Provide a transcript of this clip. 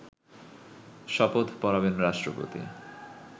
শপথ পড়াবেন রাষ্ট্রপতি